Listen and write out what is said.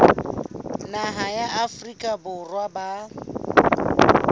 naha ya afrika borwa ba